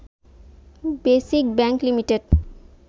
basic bank limited